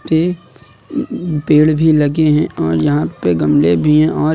एक पेड़ भी लगे हैं और यहां पे गमले भी हैं और--